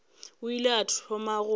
o ile wa thoma go